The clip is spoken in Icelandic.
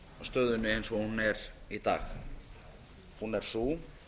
stöðunni eins og hún er í dag hún er sú